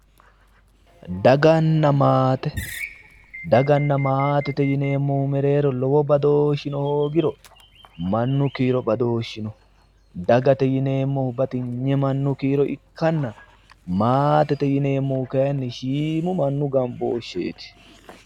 Daganna maate daganna maatete yineemmohu mereero lowo badooshino hoogiro mannu kiiro badooshi no dagate yineemmohu batinye mannu kiiro ikkanna maatete yineemmohu kayinni shiimu mannu gamboosheeti